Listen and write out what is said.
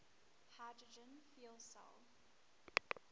hydrogen fuel cell